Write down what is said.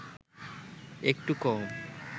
একটু কম